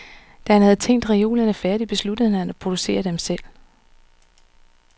Da han havde tænkt reolerne færdige, besluttede han at producere dem selv.